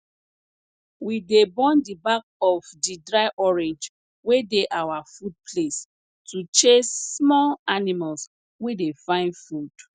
we dey burn di back of di dry orange wey dey our food place to chase small animals wey dey find food